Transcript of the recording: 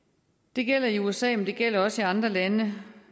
det gælder i usa men det gælder også i andre lande